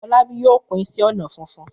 Fọlábí yóò kun iṣẹ́-ọnà funfun.